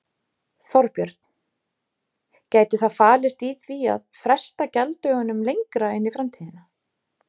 Þorbjörn: Gæti það falist í því að fresta gjalddögunum lengra inn í framtíðina?